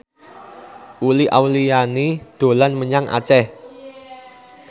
Uli Auliani dolan menyang Aceh